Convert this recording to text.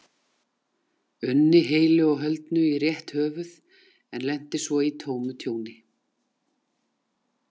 unni heilu og höldnu í rétt höfuð en lenti svo í tómu tjóni.